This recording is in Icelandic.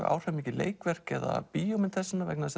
áhrifamikið leikverk eða bíómynd þessa vegna